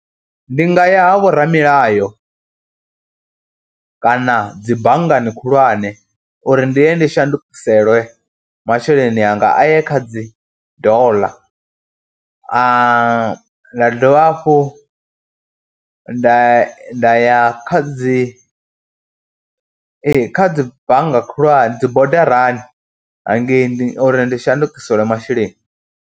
Ndi nga ya ha vhoramilayo kana dzi banngani khulwane uri ndi ye ndi shandukiselwe masheleni anga, a ye kha dzi doḽa dovha hafhu nda nda ya kha dzi ee kha dzi bannga khulwane dzi bodarani hangei uri ndi shandukiselwe masheleni.